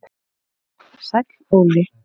Sæll Óli